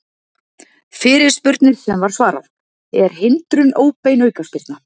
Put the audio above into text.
Fyrirspurnir sem var svarað: Er hindrun óbein aukaspyrna?